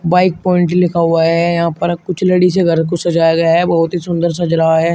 Bike point लिखा हुआ है यहां पर कुछ लड़ी से घर को सजाया गया है बहुत ही सुंदर सज रहा है।